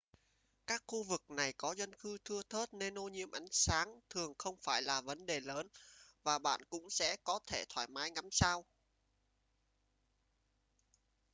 các khu vực này có dân cư thưa thớt nên ô nhiễm ánh sáng thường không phải là vấn đề lớn và bạn cũng sẽ có thể thoải mái ngắm sao